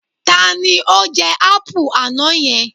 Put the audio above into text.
Ta ni ó jẹ ápù àná yẹn?